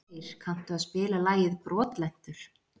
Freyr, kanntu að spila lagið „Brotlentur“?